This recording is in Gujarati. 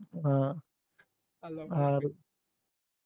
હમ .